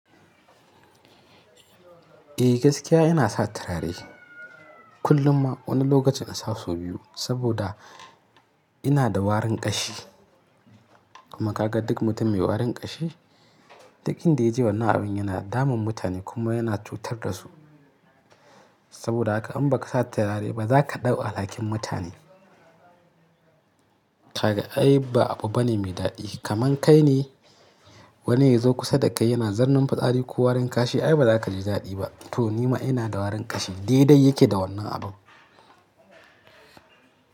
Eh gaskiya ina satarare kullum ma wani lokacin nasa sau biyu saboda ina da warin ƙashi. Kuma kaga duk mutum mai warin ƙashi, duk in da ya je wannan abin yana damun mutane kuma yana cutar da su. Saboda haka in ba ka sa turare ba, za ka ɗau alhakin mutane. Haka ai ba abu bane mai daɗi. Kaman kai ne wani ya zo kusa da kai yana zarnan fitsari ko warin ƙashi, ai ba za ka ji daɗi ba. To nima ina da warin ƙashi, dai dai yake da wannan abu.